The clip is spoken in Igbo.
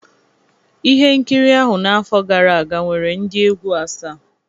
Ihe nkiri ahụ n'afọ gara aga nwere ndị egwu asaa